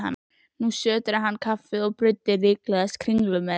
Nú sötraði hann kaffið og bruddi líklegast kringlu með.